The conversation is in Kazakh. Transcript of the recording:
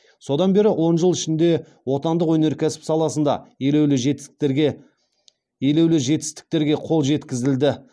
содан бері он жыл ішінде отандық өнеркәсіп саласында елеулі жетістіктерге қол жеткізілді